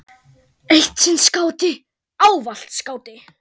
Eitt sinn skáti, ávallt skáti.